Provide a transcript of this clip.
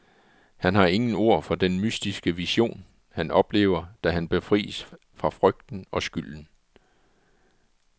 Han har ingen ord for den mystiske vision, han oplever, da han befries fra frygten og skylden.